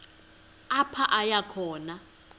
apho aya khona